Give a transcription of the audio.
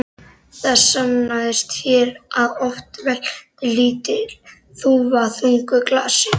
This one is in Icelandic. Það sannaðist hér að oft veltir lítil þúfa þungu hlassi.